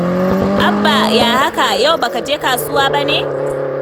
Abba, ya haka? Yau ba ka je kasuwa ba ne?